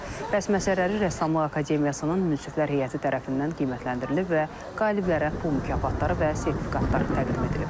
Bəhs məsələləri rəssamlıq akademiyasının munsiflər heyəti tərəfindən qiymətləndirilib və qaliblərə pul mükafatları və sertifikatlar təqdim edilib.